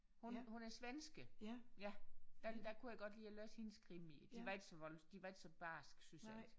Hun hun er svensker ja der der kunne jeg godt lide at læse hendes krimier de var ikke vold de var ikke så barske synes jeg